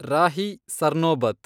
Rahi Sarnobat